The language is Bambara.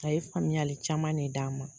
A ye faamuyali caman ne d'a ma.